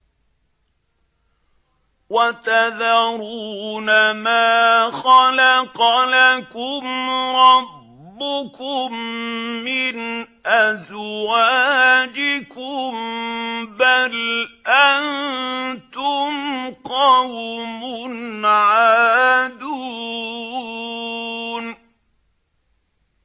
وَتَذَرُونَ مَا خَلَقَ لَكُمْ رَبُّكُم مِّنْ أَزْوَاجِكُم ۚ بَلْ أَنتُمْ قَوْمٌ عَادُونَ